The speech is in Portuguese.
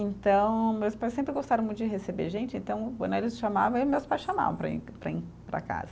Então, meus pais sempre gostaram muito de receber gente, então, né eles chamavam, eu e meus pais chamavam para ir, para em, para casa.